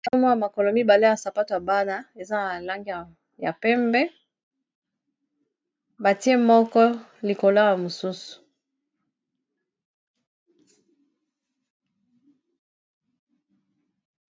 Namona makolo mibale ya sapato ya bana eza na balange ya pembe batie moko likolona mosusu